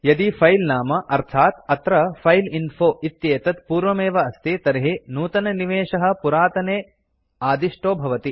यदि फिले नाम अर्थात् अत्र फाइलइन्फो इत्येतत् पूर्वमेव अस्ति तर्हि नूतननिवेशः पुरातने आदिष्टो भवति